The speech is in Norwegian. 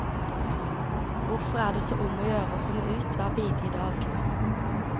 Hvorfor er det så om å gjøre å komme ut hver bidige dag?